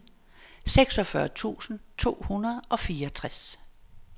seksogfyrre tusind to hundrede og fireogtres